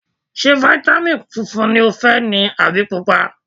Ṣé fáítámìn funfun ni o fẹ́ ni àbí Pupa?